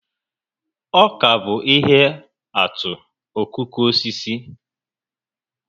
Ọka bụ ihe atụ okooko osisi